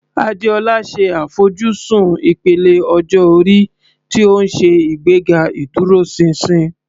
Adeola ṣe àfojúsùn ìpele ọjọ́ orí tí ó ń ṣe ìgbéga ìdúróṣinṣin.